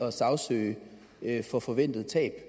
at sagsøge for forventet tab